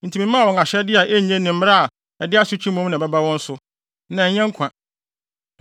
Enti memaa wɔn ahyɛde a enye ne mmara a ɛde asotwe mmom na ɛbɛba wɔn so, na ɛnyɛ nkwa;